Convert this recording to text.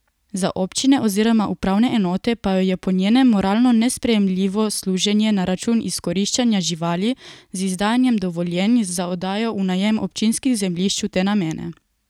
Za občine oziroma upravne enote pa je po njenem moralno nesprejemljivo služenje na račun izkoriščanja živali z izdajanjem dovoljenj za oddajo v najem občinskih zemljišč v te namene.